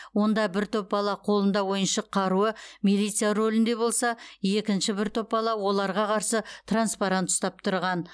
онда бір топ бала қолында ойыншық қаруы милиция рөлінде болса екінші бір топ бала оларға қарсы транспарант ұстап тұрған